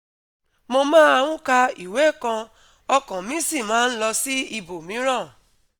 mo máa ń ka ìwé kan, ọkàn mi sì máa ń lọ sí ibòmíràn